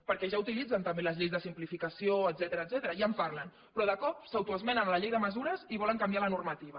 perquè ja utilitzen també les lleis de simplificació etcètera ja en parlen però de cop s’autoesmenen la llei de mesures i volen canviar la normativa